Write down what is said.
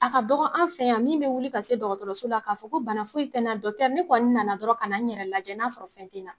A ka dɔgɔ an fɛ yan min bɛ wili ka se dɔgɔtɔrɔso la k'a fɔ ko bana foyi tɛna ne kɔni nana dɔrɔn ka na n yɛrɛ lajɛ, n'a sɔrɔ fɛn tɛ n na.